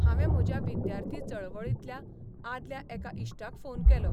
हावें म्हज्या विद्यार्थी चळवळींतल्या आदल्या एका इश्टाक फोन केलो.